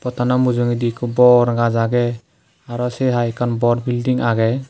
pottano mujungedi ekko bor gaz age araw se hai ekkan bor bilting agey.